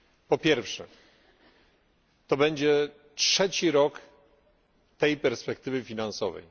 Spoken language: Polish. Po pierwsze, to będzie trzeci rok tej perspektywy finansowej.